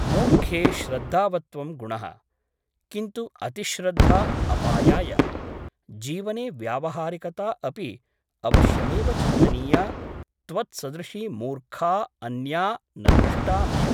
मूर्खे श्रद्धावत्त्वं गुणः । किन्तु अतिश्रद्धा अपायाय । जीवने व्यावहारिकता अपि अवश्यमेव चिन्तनीया त्वत्सदृशी मूर्खा अन्या न दृष्टा मया ।